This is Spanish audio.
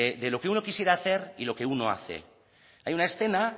de lo que uno quisiera hacer y lo que hace hay una escena